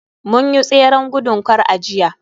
mun yi tseren gudun kar a jiya